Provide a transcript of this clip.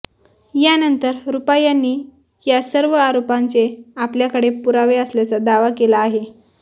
यानंतर रुपा यांनी या सर्व आरोपांचे आपल्याकडे पुरावे असल्याचा दावा केला आहे